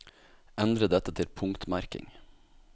Endre dette til punktmerking